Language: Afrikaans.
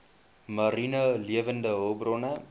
mariene lewende hulpbronne